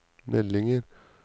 meldinger